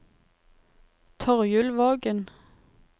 Torjulvågen